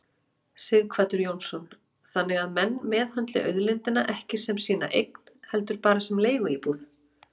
Sighvatur Jónsson: Þannig að menn meðhöndli auðlindina ekki sem sína eign heldur bara sem leiguíbúð?